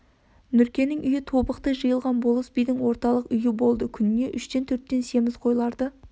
нұркенің үйі тобықты жиылған болыс бидің орталық үйі болды күніне үштен төрттен семіз қойларды